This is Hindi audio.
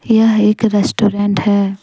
यह एक रेस्टोरेंट है।